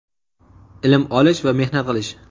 ilm olish va mehnat qilish.